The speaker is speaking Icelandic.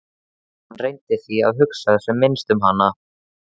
Hann reyndi því að hugsa sem minnst um hana.